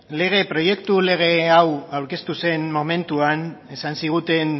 proiektu lege hau aurkeztu zen momentuan esan ziguten